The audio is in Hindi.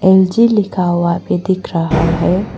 एल_जी लिखा हुआ आगे दिख रहा है।